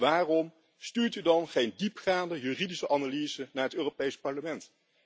Waarom stuurt u dan geen diepgaande juridische analyse naar het Europees Parlement?